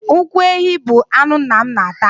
Ụkwụ ehi bụ anụ nna m na-ata.